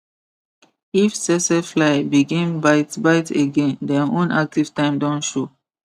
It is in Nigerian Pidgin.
if tsetse fly begin bite bite again dem own active time don show